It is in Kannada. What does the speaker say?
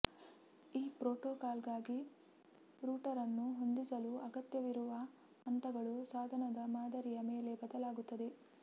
ಈ ಪ್ರೋಟೋಕಾಲ್ಗಾಗಿ ರೂಟರ್ ಅನ್ನು ಹೊಂದಿಸಲು ಅಗತ್ಯವಿರುವ ಹಂತಗಳು ಸಾಧನದ ಮಾದರಿಯ ಮೇಲೆ ಬದಲಾಗುತ್ತದೆ